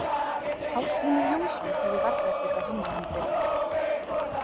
Ásgrímur Jónsson hefði varla getað hannað hann betur.